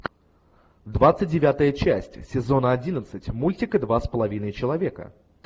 двадцать девятая часть сезона одиннадцать мультика два с половиной человека